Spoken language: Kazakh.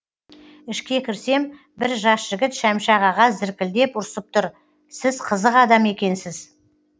ішке кірсем бір жас жігіт шәмші ағаға зіркілдеп ұрсып тұр сіз қызық адам екенсіз